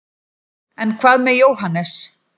en hvað með jóhannes